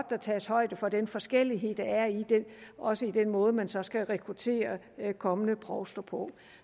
der tages højde for den forskellighed der er også i den måde man så skal rekruttere kommende provster på